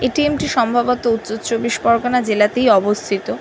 ATM. -টি সম্ভবত উত্তর চব্বিশ পরগনা জেলাতেই অবস্থিত।